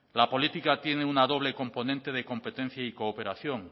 la política tiene una doble componente de competencia y cooperación